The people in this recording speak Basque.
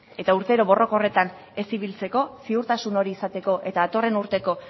eta urtero borroka horretan ez ibiltzeko ziurtasun hori izateko eta datorren urteko